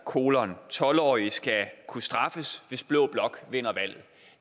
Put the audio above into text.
tolv årige skal kunne straffes hvis blå blok vinder valget